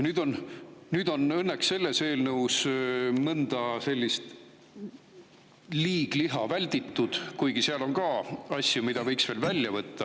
Õnneks selles eelnõus on mõnda sellist liigliha välditud, kuigi selles on ka asju, mida võiks veel välja võtta.